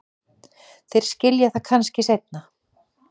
Þeir skilja það kannski seinna.